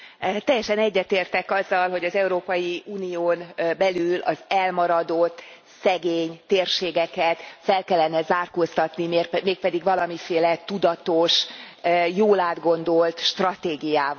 Teljesen egyetértek azzal, hogy az Európai Unión belül az elmaradott, szegény térségeket fel kellene zárkóztatni, mégpedig valamiféle tudatos, jól átgondolt stratégiával.